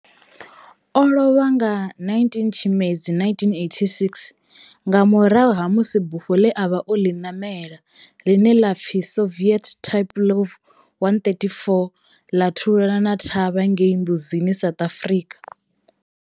O lovha nga 19 Tshimedzi 1986 nga murahu ha musi bufho ḽe a vha o ḽi namela, ḽine ḽa pfi Soviet Tupolev 134 ḽa thulana thavha ngei Mbuzini, South Africa.